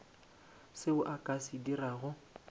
seo a ka se dirago